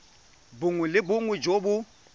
bongwe le bongwe jo bo